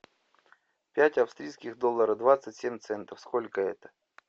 пять австрийских долларов двадцать семь центов сколько это